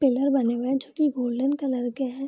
Pillar बने हुए है जो की गोल्डन कलर के है।